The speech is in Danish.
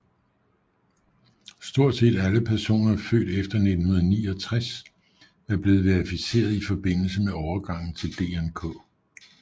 Stort set alle personer født efter 1969 er blevet verificeret i forbindelse med overgangen til DNK